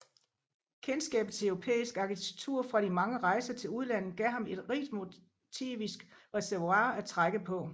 Kendskabet til europæisk arkitektur fra de mange rejser til udlandet gav ham et rigt motivisk reservoir at trække på